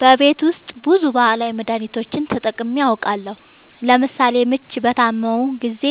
በቤት ውስጥ ብዙ ባህላዊ መድሀኒቶችን ተጠቅሜ አውቃለሁ ለምሳሌ ምች በታመምሁ ጊዜ